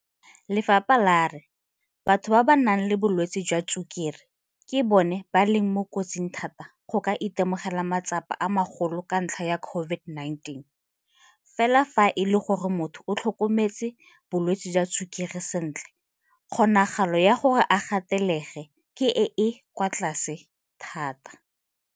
Lefapha la re batho ba ba nang le bolwetse jwa tshukiri ke bona ba leng mo kotsing thata ya go ka itemogela matsapa a magolo ka ntlha ya COVID-19, fela fa e le gore motho o tlhokometse bolwetse jwa tshukiri sentle kgonagalo ya gore a gatelege ke e e kwa tlase thata.